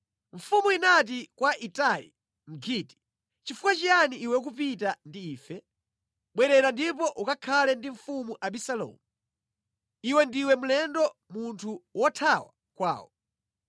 Mfumu inati kwa Itai Mgiti, “Nʼchifukwa chiyani iwe ukupita ndi ife? Bwerera ndipo ukakhale ndi mfumu Abisalomu. Iwe ndiwe mlendo munthu wothawa kwawo.